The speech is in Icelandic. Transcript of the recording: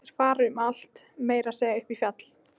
Þeir fara um allt, meira að segja upp í fjall.